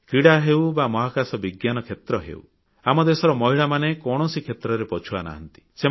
କ୍ରୀଡ଼ାକ୍ଷେତ୍ର ହେଉ ବା ମହାକାଶ ବିଜ୍ଞାନ କ୍ଷେତ୍ର ଆମ ଦେଶର ମହିଳାମାନେ କୌଣସି କ୍ଷେତ୍ରରେ ପଛୁଆ ନାହାନ୍ତି